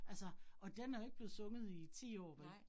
Altså og den er jo ikke blevet sunget i 10 år vel